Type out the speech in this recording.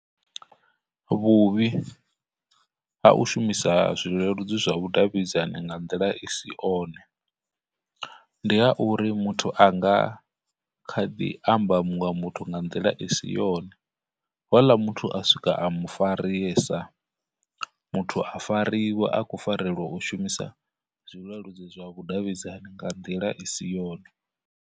Vhuvhi ha u shumisa zwileludzi zwa vhudavhidzani nga nḓila i si one, ndi ha uri muthu anga kha ḓi amba munwe nga nḓila i si yone, houḽa muthu a swika a mufarisa, muthu a fariwa a khou farelwa u shumisa zwileludzi zwa vhudavhidzani nga nḓila i si yone.